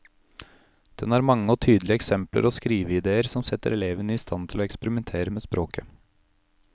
Den har mange og tydelige eksempler og skriveidéer som setter elevene i stand til å eksperimentere med språket.